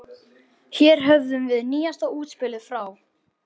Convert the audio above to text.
Hér höfum við nýjasta útspilið frá